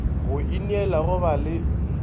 go ineela go ba le